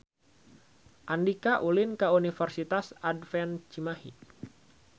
Andika ulin ka Universitas Advent Cimahi